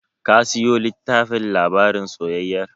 Ka siyo tllittafin labarin soyayyar?